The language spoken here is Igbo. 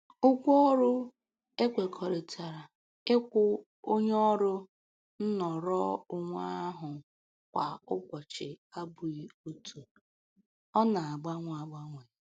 Ụgwọ ekwekọrịtara ịkwụ onye ọrụ nnọrọonwe ahụ kwa ọnwa abụghị otu, ọ na-agbanwe agbanwe